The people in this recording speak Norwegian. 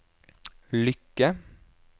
lykke